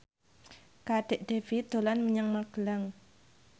Kadek Devi dolan menyang Magelang